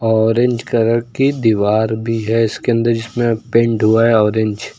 Orange colour की दीवार भी है इसके अंदर जिसमें पेंट हुआ है ऑरेंज ।